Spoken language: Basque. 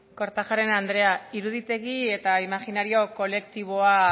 kortajarena andrea iruditegi eta imajinario kolektiboa